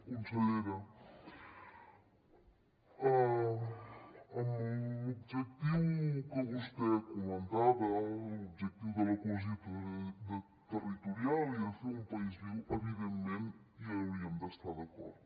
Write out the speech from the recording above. consellera amb l’objectiu que vostè comentava l’objectiu de la cohesió territorial i de fer un país viu evidentment hi hauríem d’estar d’acord